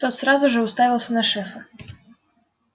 тот сразу же уставился на шефа